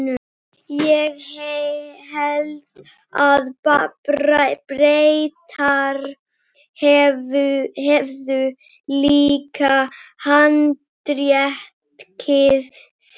Ég hélt að Bretar hefðu líka handtekið þig?